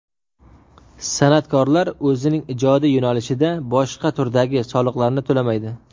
San’atkorlar o‘zining ijodiy yo‘nalishida boshqa turdagi soliqlarni to‘lamaydi.